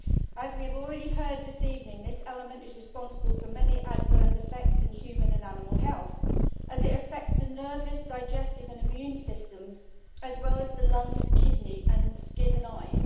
As we have already heard this evening, this element is responsible for many adverse effects in human and animal health, as it affects the nervous, digestive and immune systems as well as the lungs, kidney and skin and eyes.